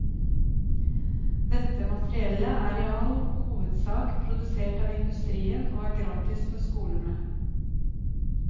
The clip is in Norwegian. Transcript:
Dette materiellet er i all hovedsak produsert av industrien og er gratis for skolene.